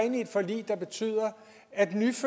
af det